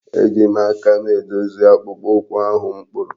Eji m aka m edozi akpụkpọ ụkwụ ahụ m kpụrụ.